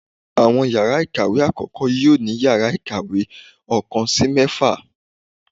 awọn ìyára ikáwe akọkọ, yoo ni íyarà ikáwe ọkan si mẹfa.